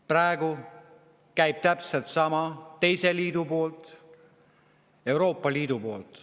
Praegu toimub täpselt sama teise liidu poolt, Euroopa Liidu poolt.